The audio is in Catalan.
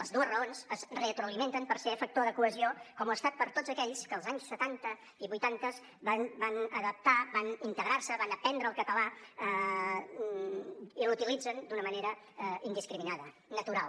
les dues raons es retroalimenten perquè són factor de cohesió com ho ha estat per a tots aquells que els anys setanta i vuitantes van adaptar van integrar se van aprendre el català i l’utilitzen d’una manera indiscriminada natural